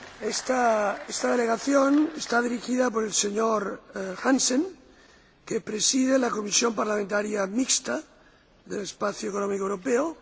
Esta delegación está dirigida por el señor Hansen, que preside la Comisión Parlamentaria Mixta del Espacio Económico Europeo.